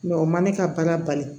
o ma ne ka baara bali